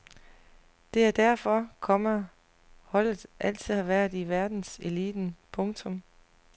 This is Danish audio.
Det er derfor, komma holdet altid har været i verdenseliten. punktum